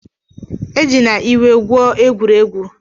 Ejina iwe gwuo egwuregwu ọbụla!